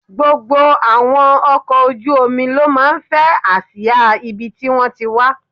Gbogbo àwọn ọkọ̀ ojú omi ló máa ń fẹ́ àsìá ibi tí wón ti wá.